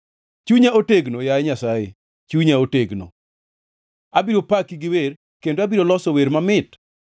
Chunya otegno, yaye Nyasaye, chunya otegno; abiro paki gi wer kendo abiro loso wer mamit.